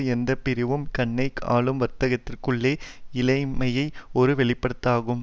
எந்த பிரிவும் கன்னை ஆளும் வர்க்கத்திற்குள்ளே இல்லாமையின் ஒரு வெளிப்பாடாகும்